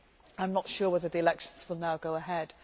I am not sure whether the elections will now go ahead.